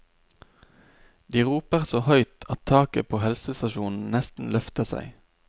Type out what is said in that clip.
De roper så høyt at taket på helsestasjonen nesten løfter seg.